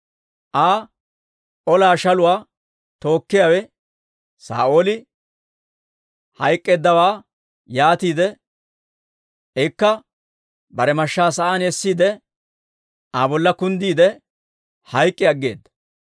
Aa ola shaluwaa tookkiyaawe Saa'ooli hayk'k'eeddawaa be'iide, ikka bare mashshaa sa'aan essiide, Aa bolla kunddiide, hayk'k'i aggeeda.